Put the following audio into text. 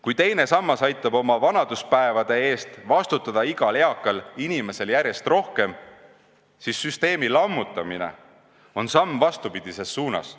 Kui teine sammas aitab oma vanaduspäevade eest igal eakal inimesel järjest rohkem vastutada, siis süsteemi lammutamine on samm vastupidises suunas.